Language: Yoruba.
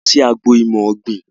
A lọ sí agbo ìmọ̀ ọ̀gbín